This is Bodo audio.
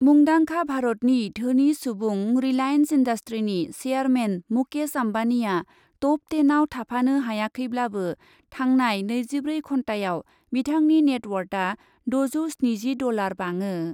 मुंदांखा भारतनि धोनि सुबुं रिलाइन्स इन्डास्ट्रिनि चेयारमेन मुकेश अम्बानिआ टप टेनआव थाफानो हायाखैब्लाबो थांनाय नैजिब्रै घन्टायाव बिथांनि नेटवार्टआ दजौ स्निजि डलार बाङो।